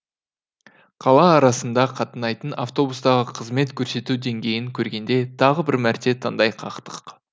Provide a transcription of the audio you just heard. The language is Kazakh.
қала арасында қатынайтын автобустағы қызмет көрсету деңгейін көргенде тағы бір мәрте таңдай қақтық